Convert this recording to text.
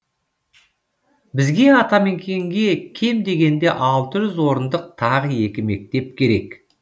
бізге атамекенге кем дегенде алты жүз орындық тағы екі мектеп керек